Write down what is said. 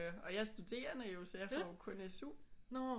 Og jeg er studerende jo så jeg får jo kun SU